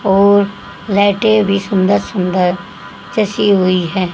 और लाइटे भी सुंदर सुंदर जैसी हुई है।